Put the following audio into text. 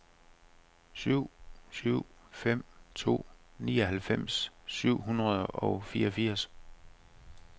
syv syv fem to nioghalvfems syv hundrede og fireogfirs